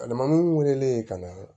Alimamuw wele ka na